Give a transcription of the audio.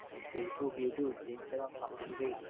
Facebook YouTube Instagram সবকিছুতেই